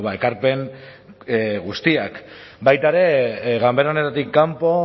ekarpen guztiak baita ere ganbera honetatik kanpo